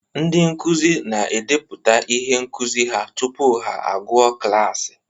Ndị nkuzi na-edepụta ihe nkuzi ha tupu ha agụọ klaasị